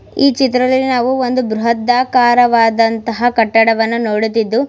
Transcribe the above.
ಈ ಚಿತ್ರದಲ್ಲಿ ನಾವು ಒಂದು ಬೃತಟಾಕಾರ ವದಂತಹ ಕಟ್ಟಡವನ್ನು ನೋಡುತಿದ್ದು.